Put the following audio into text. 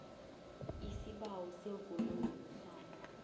aisibawo semvumo yokuhlala